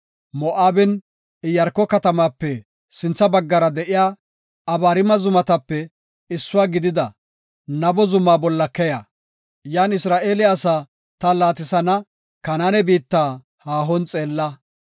“Moo7aben, Iyaarko katamape sintha baggara de7iya Abariima Zumatape issuwa gidida Nabo Zuma bolla keya; yan Isra7eele asaa ta laatisana, Kanaane biitta haahon xeella.